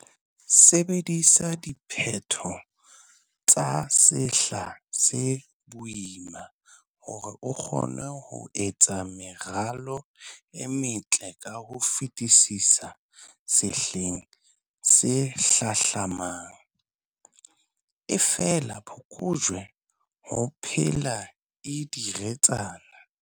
Sebedisa diphetho tsa sehla se boima hore o kgone ho etsa meralo e metle ka ho fetisisa sehleng se hlahlamang. Efela phokojwe ho phela e diretsana!